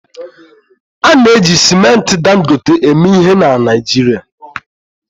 A na-eji simenti Dangote eme ihe na Naịjirịa